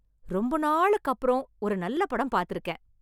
ரொம்ப நாளுக்கு அப்புறம் ஒரு நல்ல படம் பார்த்து இருக்கேன்